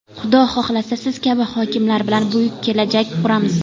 Xudo xohlasa, Siz kabi hokimlar bilan buyuk kelajak quramiz!